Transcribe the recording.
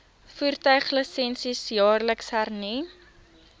voertuiglisensie jaarliks hernu